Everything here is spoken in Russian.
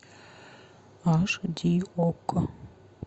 аш ди окко